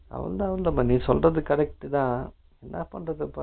ஆமா ஆமாண்டா நீ சொல்லுறது correct தான் என்னா பண்றது